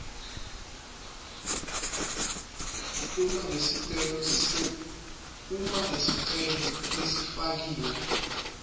uma lesicelo lesifakiwe